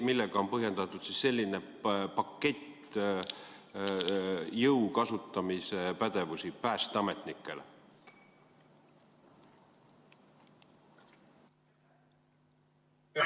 Millega on põhjendatud selline pakett jõu kasutamise pädevusi päästeametnikele?